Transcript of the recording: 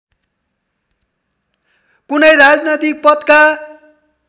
कुनै राजनैतिक पदका